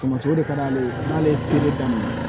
Tamatɛ o de ka d'ale ye n'ale feere daminɛ na